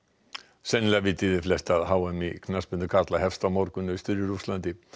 sennilega vitið þið flest að h m í knattspyrnu karla hefst á morgun austur í Rússlandi